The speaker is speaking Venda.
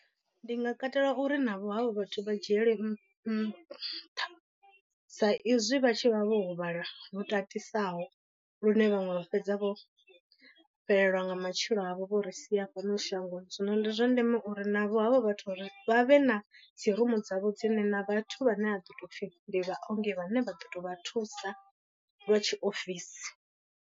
Ndi nga katela uri navho havho vhathu vha dzhiele nṱha sa izwi vha tshi vha vho huvhala lu tatisaho lune vhaṅwe vha fhedza vho fhelelwa nga matshilo avho vho ri sia fhano shangoni. Zwino ndi zwa ndeme uri navho havho vhathu uri vha vhe na dzi rumu dzavho dzine na vhathu vhane vha ḓo tou pfhi ndi vhaongi vhane vha ḓo to vha thusa lwa tshiofisi.